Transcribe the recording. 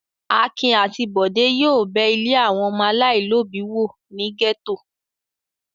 Akin àti Bọ̀dé yóò bẹ ilé àwọn ọmọ aláìlóòbí wò ní gẹ́tò.